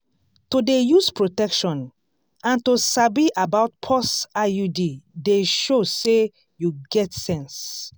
to dey use protection and to sabi about pause iud de show say you get sense